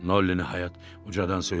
Nolli ucadan söylədi.